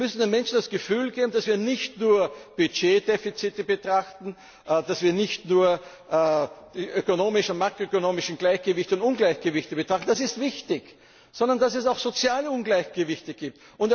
Wir müssen den Menschen das Gefühl geben, dass wir nicht nur Budgetdefizite betrachten, dass wir nicht nur die ökonomischen und makroökonomischen Gleichgewichte und Ungleichgewichte betrachten das ist wichtig sondern dass es auch soziale Ungleichgewichte gibt.